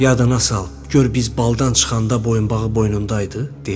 Yadına sal, gör biz baldan çıxanda boyunbağı boynunda idi?